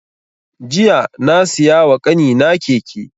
Jiya na siya wa ƙanina keke